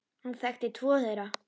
Hann þekkti tvo þeirra.